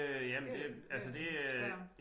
Det er jeg nødt til at spørge om